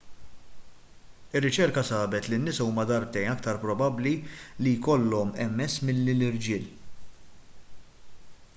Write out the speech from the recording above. ir-riċerka sabet li n-nisa huma darbtejn aktar probabbli li jkollhom ms milli l-irġiel